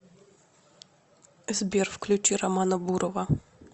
сбер включи романа бурова